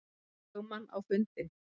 lögmann á fundinn.